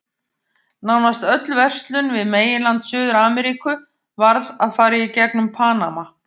Nánast öll verslun við meginland Suður-Ameríku varð að fara í gegnum Panama.